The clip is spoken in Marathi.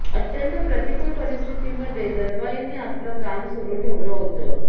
अत्यंत प्रतिकूल परिस्थितीमध्ये दलवाईंनी आपलं काम सुरू ठेवलं होतं